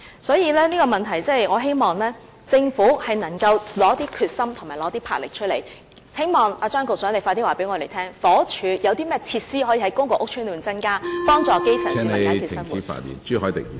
所以，就這個問題，我希望政府能夠拿出決心和魄力，希望張局長快一點告訴我們，房屋署可在公共屋邨內增加甚麼設施，以幫助基層......